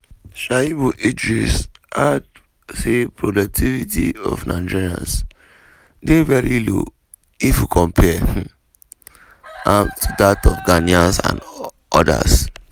um shuiabu idris add say productivity of nigerians dey very low if we compare um am to dat of ghanaians and odas.